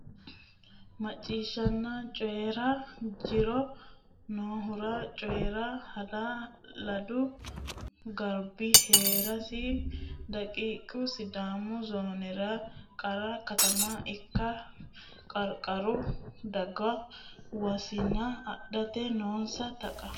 Macciishshanna Coyi ra jiro nohura Coyi ra Hala ladu garbi hee rasi daqiiqa Sidaamu zoonera qara katama ikka Qarqaru daga wosina adhate noonsa Taqa.